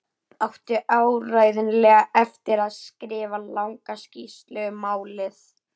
Átti áreiðanlega eftir að skrifa langa skýrslu um málið.